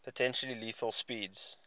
potentially lethal speeds